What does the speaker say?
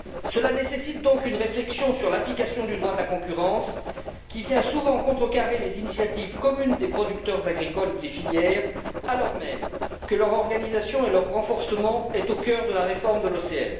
Cela nécessite donc une réflexion sur l'application du droit de la concurrence qui vient souvent contrecarrer les initiatives communes des producteurs agricoles ou des filières, alors même que leur organisation et leur renforcement sont au cœur de la réforme de l'OCM.